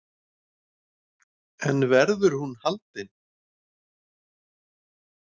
Þorbjörn: En verður hún haldin?